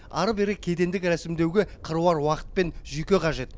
ары бері кедендік рәсімдеуге қыруар уақыт пен жүйке қажет